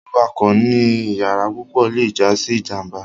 Wiwakọ ni iyara pupọ le ja si ijamba